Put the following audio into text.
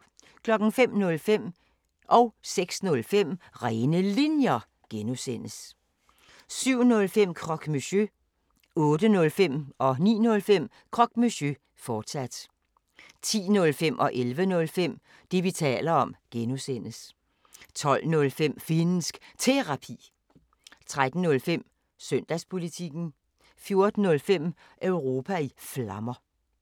05:05: Rene Linjer (G) 06:05: Rene Linjer (G) 07:05: Croque Monsieur 08:05: Croque Monsieur, fortsat 09:05: Croque Monsieur, fortsat 10:05: Det, vi taler om (G) 11:05: Det, vi taler om (G) 12:05: Finnsk Terapi 13:05: Søndagspolitikken 14:05: Europa i Flammer